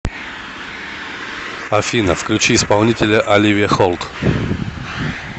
афина включи исполнителя оливия холт